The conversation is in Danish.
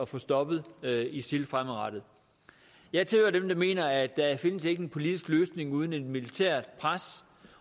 få stoppet isil fremadrettet jeg tilhører dem der mener at der ikke findes en politisk løsning uden et militært pres